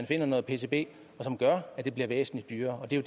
finder noget pcb som gør at det bliver væsentlig dyrere det er